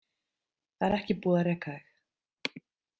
Það er ekki búið að reka þig.